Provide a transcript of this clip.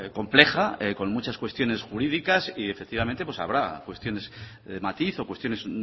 compleja con muchas cuestiones jurídicas y efectivamente habrá cuestiones de matiz o cuestiones